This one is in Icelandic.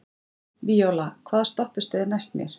Víóla, hvaða stoppistöð er næst mér?